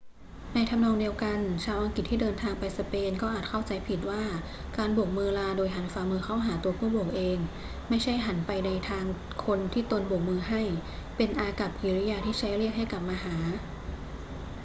ในทำนองเดียวกัน ชาวอังกฤษที่เดินทางไปสเปนก็อาจเข้าใจผิดว่าการโบกมือลาโดยหันฝ่ามือเข้าหาตัวผู้โบกเอง ไม่ใช่หันไปทางคนที่ตนโบกมือให้ เป็นอากัปกิริยาที่ใช้เรียกให้กลับมาหา